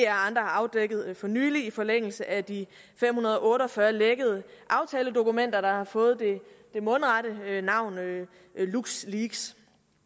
andre har afdækket for nylig i forlængelse af de fem hundrede og otte og fyrre lækkede aftaledokumenter der har fået det mundrette navn luxleaks